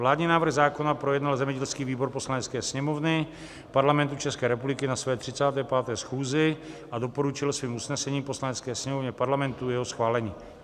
Vládní návrh zákona projednal zemědělský výbor Poslanecké sněmovny Parlamentu České republiky na své 35. schůzi a doporučil svým usnesením Poslanecké sněmovně Parlamentu jeho schválení.